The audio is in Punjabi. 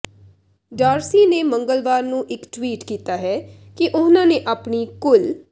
ਡਾਰਸੀ ਨੇ ਮੰਗਲਵਾਰ ਨੂੰ ਇਕ ਟਵੀਟ ਕੀਤਾ ਹੈ ਕਿ ਉਨ੍ਹਾਂ ਨੇ ਆਪਣੀ ਕੁੱਲ